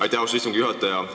Aitäh, austatud istungi juhataja!